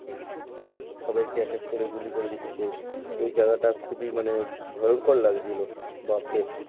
সবাইকে এক এক করে গুলি করে দিচ্ছে ওই জায়গা টা খুবই মানে ভয়ঙ্কর লাগছিলো বাপ রে।